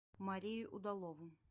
марию удалову